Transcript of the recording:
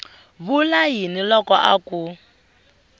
vula yini loko a ku